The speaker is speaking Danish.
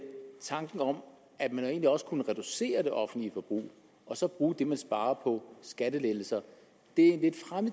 tanken om at man jo egentlig også kunne reducere det offentlige forbrug og så bruge det som man sparede på skattelettelser er en